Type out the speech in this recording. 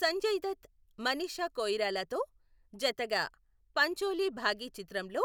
సంజయ్ దత్, మనీషా కొయిరాలాతో జతగా పంచోలి బాఘీ చిత్రంలో